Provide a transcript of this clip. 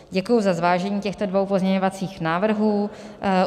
Děkuji za zvážení těchto dvou pozměňovacích návrhů.